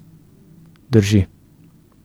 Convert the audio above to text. Drži.